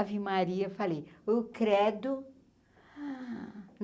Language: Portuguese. Ave Maria, falei, o credo.